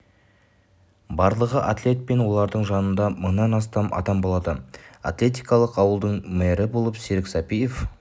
барлығы атлет пен олардың жанында мыңнан астам адам болады атлетикалық ауылдың мэрі болып серік сәпиев